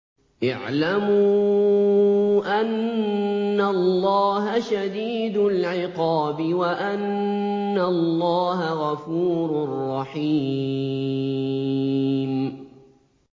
اعْلَمُوا أَنَّ اللَّهَ شَدِيدُ الْعِقَابِ وَأَنَّ اللَّهَ غَفُورٌ رَّحِيمٌ